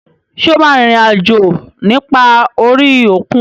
Ṣé o máa rin ìrìn àjò nípa orí òkun?